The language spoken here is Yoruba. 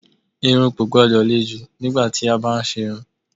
Irun kò gbọ́dọ̀ le jù nígbà tí a bá ń ṣe irun.